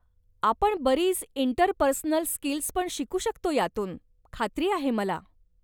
आपण बरीच interpersonal skills पण शिकू शकतो यातून, खात्री आहे मला.